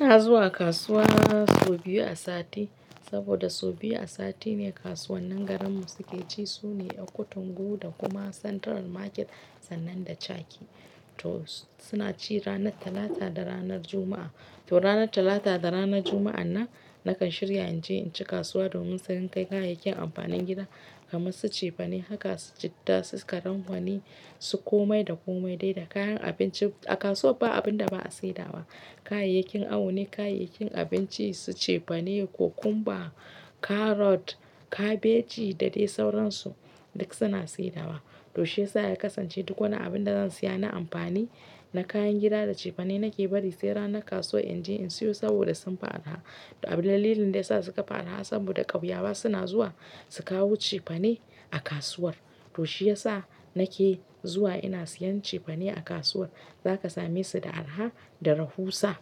Ina zuwa kasuwa so biyu a sati saboda so biyu a sati ne kasuwannin garinmu suke ci. Sune Ekutungu da kuma Central Market sannan da Chake. To suna ci ranar Talata da ranar Juma'a. To ranar Talata da ranar Juma'an nan nakan shirya in je in ci kasuwa domin sayan kayayyakin amfanin gida kamar su cefane, haka, citta, karambwani, su komai da komai dai da kayan abinci. A kasuwa ba abin da ba a saidawa. Kayayyakin awo ne, kayayyakin abinci su cefane, cucumber, carrot, kabeji da dai sauransu duk suna saidawa. To shiyasa na kasance duk wani abin da zan siya na amfani, na kayan gida da cefane nake bari sai ranar kasuwa in je in siyo saboda sun fi arha. To abin dalilin da yasa suka fi arha san buɗe ƙauyawa suna zuwa su kawo cefane a kasuwar. To shiyasa nake zuwa ina siyan cefane a kasuwar. Zaka same su da arha da rahusa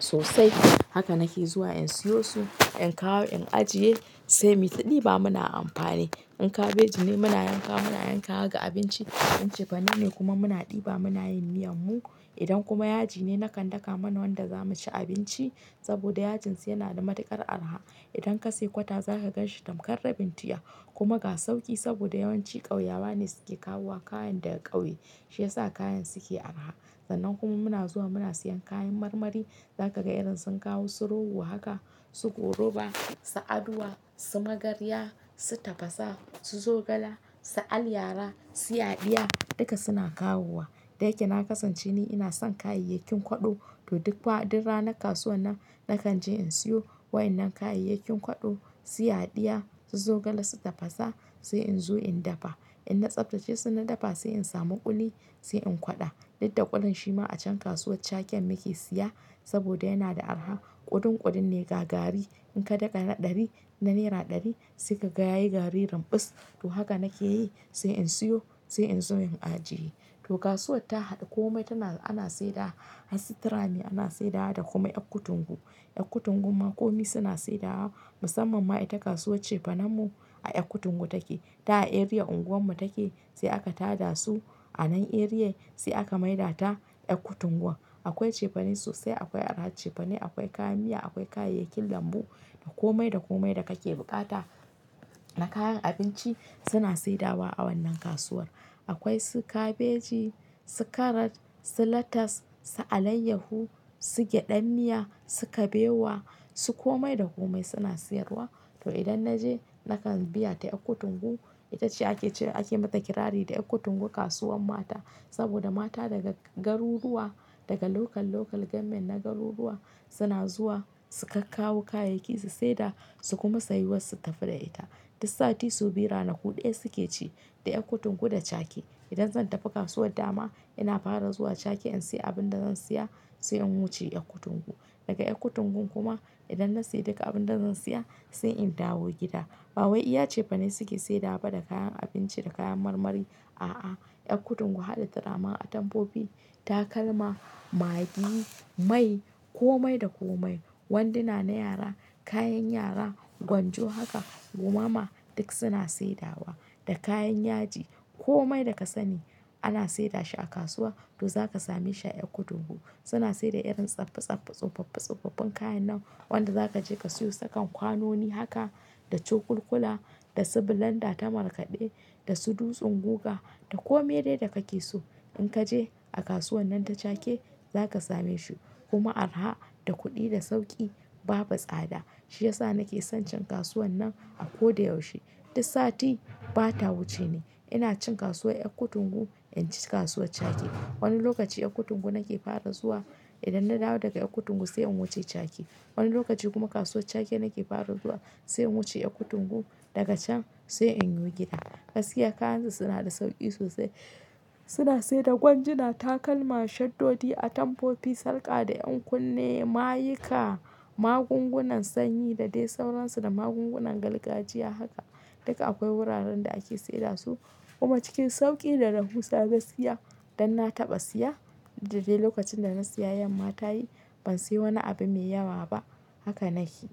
sosai. Haka nake zuwa in siyo su, in kawo in ajiye sai muyi ta ɗiba muna amfani. In kabeji ne muna yankawa muna yankawa ga abinci. In cefane ne kuma muna ɗiba muna yin miyan mu. Idan kuma yaji ne nakan daka mana wanda zamu ci abinci saboda yajin su yana da matuƙar arha. Idan ka sai kwata zakaga shi tamkar rabin tiya kuma ga sauƙi saboda yawanci ƙauyawa ne suke kawo wa kayan daga ƙauye. Shiyasa kayan suke araha. Sannan kuma muna zuwa muna siyan kayan marmari. Zaka ga irin sun kawo su rogo haka, su goruba, sa aduwa, su magarya, su tafasa, su zogala, sa aliyara, siyadya duka suna kawowa. Da yake na kasance ni ina son kayayyakin kwaɗo to duk faɗin ranar kasuwa nan nakan je in siyo wa'innan kayayyakin kwaɗo, siyadya, su zogala, su tafasa sai in zo in dafa. In na tsaftace su na dafa sai in samu ƙuli sai in kwaɗa. Dudda kulin shi ma a can kasuwar Chaken muke siya saboda yana da araha. Kudun kudun ne ga gari. In ka daka na ɗari, na naira ɗari sai ka ga yayi gari rinbus. To haka nake yi sai in siyo sai in zo in ajiye. To kasuwar ta haɗa kome tana, ana saidawa. A sito Rame ana saidawa da kuma Ekutungu. Ekutungun ma komai suna saidawa. Musamman ma ita kasuwar cefanen mu a Ekutungu take. Ta a area unguwar mu take sai aka tada su a nan area sai aka maida ta Ekutungu. Akwai cefane sosai, akwai araha cefane, akwai kayan miya, akwai kayayyakin lambu da komai da komai da kake bukata na kayan abinci suna saidawa a wannan kasuwar. Akwai su kabeji, su carrot, su lettuce, su alayyahu, su gyaɗan miya, su kabewa, su komai da komai suna siyarwa. To idan na je nakan biya ta Ekutungu. Ita ce ake cire ake mata kirari da Ekutungu kasuwar mata saboda mata daga garuruwa, daga local local government na garuruwa suna zuwa su ka kawo kayayyakin su seda su kuma sayi wasu tafi da ita. Dus sati so biyu ranaku ɗaya suke ci da Ekutungu da Chake. Idan zan tafi kasuwar dama ina fara zuwa Chake in siya abin da zan siya sai in wuce Ekutungu. Daga Ekutungun kuma idan na siya duka abin da zan siya sai in dawo gida. Ba wai iya cefane suke saidawa ba da kayan abinci da kayan marmari. A'a, Ekutungu haɗa turamen atamfofi, takalma, maggi, mai, komai da komai. Wanduna na yara, kayan yara, gwanjo haka, gumama duk suna saidawa da kayan yaji. Komai da ka sani ana saida shi a kasuwa to zaka same shi a Ekutungu. Suna saida irin tsaftsaf tsuffaffi tsuffaffin kayan nan wanda zaka je ka siyo sakan kwanoni haka da cokuk kula da su bilanda ta markaɗe da su dutsen guga da kome dai da kake so. In kaje a kasuwan nan ta Chake zakasame shi kuma araha da kuɗi da sauƙi babu tsada. Shiyasa nake son cin kasuwan nan a ko da yaushe. Dis sati bata wuce ni ina cin kasuwar Ekutungu in ci kasuwar Chake. Wani lokaci Ekutungu nake fara zuwa. Idan na dawo daga Ekutungu sai in wuce Chake. Wani lokaci kuma kasuwar Chake nake fara zuwa sai in wuce Ekutungu. Daga can sai in yi gida. Gaskiya kayansu suna da sauƙi sosai. Suna saida gwaji, na takalma, shaddodi, atomfofi, sarƙa da ƴan kunne, mayika, magungunan sanyi da dai sauransu da magungunan gargajiya haka. Duka akwai wuraren da ake saida su kuma cikin sauƙi da rahusa gaskiya. Dan na taɓa siya dudda dai lokacin da na siya yanma tayi. Ban siya wani abu mai yawa ba. Haka nake.